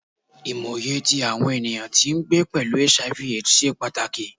Imọye ti awọn eniyan ti ngbe pẹlu Hiv/Aids ṣe pataki